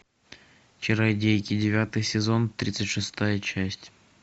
чародейки девятый сезон тридцать шестая часть